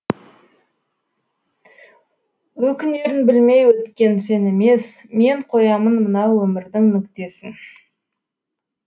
өкінерін білмей өткен сен емес мен қоямын мына өмірдің нүктесін